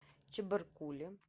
чебаркуле